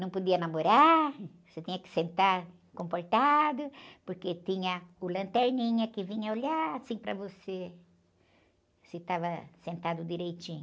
Não podia namorar, você tinha que sentar comportado, porque tinha o lanterninha que vinha olhar assim para você, se estava sentado direitinho.